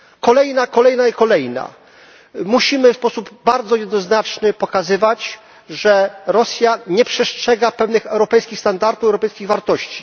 Kolejna, kolejna i kolejna. Musimy w sposób bardzo jednoznaczny pokazywać, że Rosja nie przestrzega pewnych europejskich standardów, europejskich wartości.